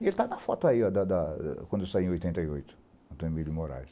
Ele está na foto aí, da da quando eu saí em oitenta e oito, Antônio Emílio Moraes.